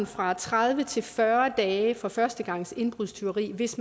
fra tredive til fyrre dage for førstegangsindbrudstyveri hvis